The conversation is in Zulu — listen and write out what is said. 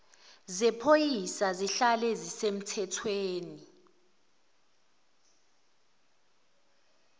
zephoyisa zihlale zisemthethweni